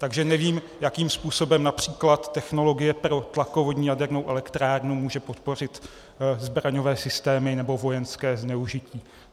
Takže nevím, jakým způsobem například technologie pro tlakovodní jadernou elektrárnu může podpořit zbraňové systémy nebo vojenské zneužití.